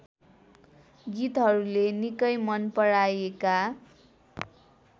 गीतहरूले निकै मनपराईएका